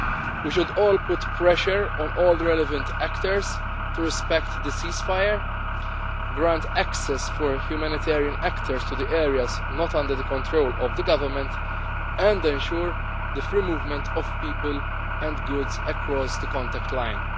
We should all put pressure on all the relevant actors to respect the ceasefire, grant access for humanitarian actors to the areas not under the control of the Government and ensure the free movement of people and goods across the contact